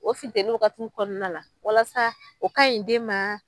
O fintɛnin waagatiw kɔnɔna la walasa o ka ɲi den ma.